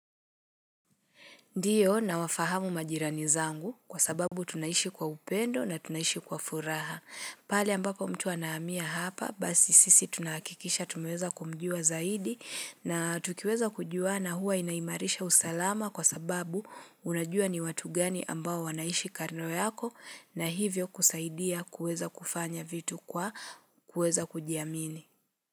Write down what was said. Ndiyo na wafahamu majirani zangu kwa sababu tunaishi kwa upendo na tunaishi kwa furaha. Pali ambapo mtu wanaamia hapa basi sisi tunakikisha tumeweza kumjua zaidi na tukiweza kujua na huwa inaimarisha usalama kwa sababu unajua ni watu gani ambao wanaishi kando yako na hivyo kusaidia kueza kufanya vitu kwa kueza kujiamini.